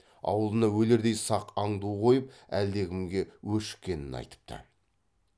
аулына өлердей сақ аңду қойып әлдекімге өшіккенін айтыпты